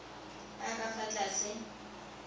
a a ka fa tlase